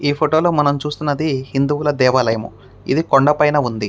ఈ ఫోటో లో మనం చూస్తున్నది హిందువుల దేవాలయము. ఇది కొండపైన ఉంది.